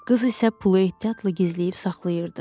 Qız isə pulu ehtiyatla gizləyib saxlayırdı.